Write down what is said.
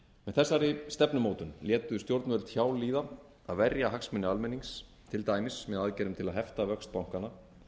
þessari stefnumótun létu stjórnvöld hjá líða að verja hagsmuni almennings til dæmis með aðgerðum til að hefta vöxt bankanna